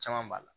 Caman b'a la